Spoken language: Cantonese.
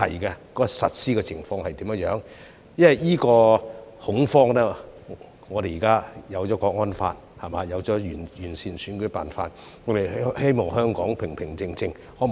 因為在此恐慌下，我們現在有了《香港國安法》，有了完善的選舉辦法，希望香港平平靜靜。